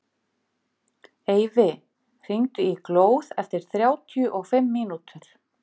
Eyfi, hringdu í Glóð eftir þrjátíu og fimm mínútur.